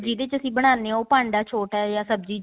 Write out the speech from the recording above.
ਜਿਹਦੇ ਚ ਅਸੀਂ ਬਣਾਦੇ ਹਾਂ ਉਹ ਪਾਂਡਾ ਛੋਟਾ ਹੈ ਜਾਂ ਸਬਜੀ